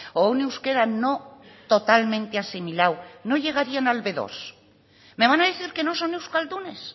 o un euskera no totalmente asimilado no llegarían al be dos me van a decir que no son euskaldunes